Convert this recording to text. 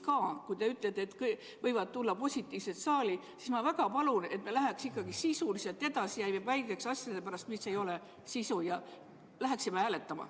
Ja kui te ütlete, et võivad tulla ka positiivse testi andnud inimesed saali, siis ma väga palun, et me ei läheks niisama edasi ja ei vaidleks asjade üle, mis ei ole sisulised, ja asuksime hääletama.